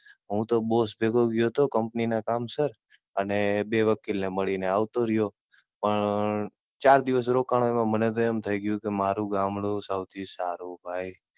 હું તો Boss ભેગો ગયો હતો, Company ના કામ સર, અને બે વકીલ ને મળી ને આવતો રહ્યો. પણ ચાર દિવસ રોકાણો તો મને તો એમ થઇ ગયું કે મારું ગામડું સૌથી સારું ભાઈ.